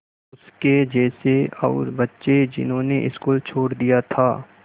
उसके जैसे और बच्चे जिन्होंने स्कूल छोड़ दिया था